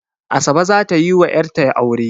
Asabe za ta yi wa 'yatra aure